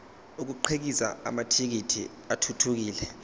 akhiqize amathekisthi athuthukile